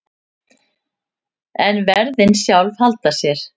En verðin sjálf halda sér.